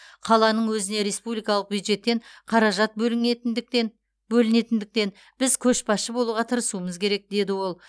қаланың өзіне республикалық бюджеттен қаражат бөлінітіндіктен бөлінетіндіктен біз көшбасшы болуға тырысуымыз керек деді ол